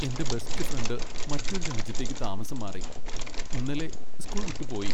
എന്റെ best friend മറ്റൊരു രാജ്യത്തേക്ക് താമസം മാറി, ഇന്നലെ സ്കൂൾ വിട്ടുപോയി .